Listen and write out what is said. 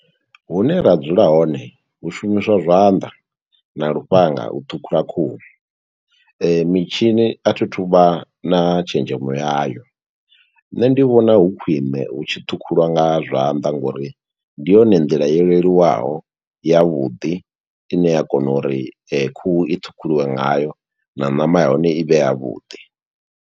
Hune ra dzula hone, hu shumiswa zwanḓa na lufhanga u ṱhukhula khuhu. Mitshini a thi thu vha na tshenzhemo ya yo, nṋe ndi vhona hu khwiṋe hu tshi ṱhukhuliwa nga zwanḓa, ngo uri ndi yone nḓila yo leluwaho, ya vhuḓi, i ne ya kona uri khuhu i ṱhukhuliwe nga yo, na ṋama ya hone i vhe ya vhuḓi.